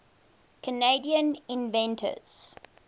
canadian inventors